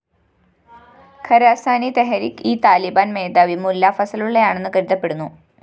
Khurasani Tehrik e Taliban‍ മേധാവി മുല്ലാ ഫസലുള്ളയാണെന്നു കരുതപ്പെടുന്നു